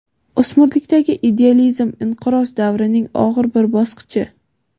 o‘smirlikdagi idealizm inqiroz davrining og‘ir bir bosqichi.